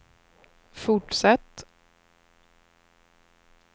fortsätt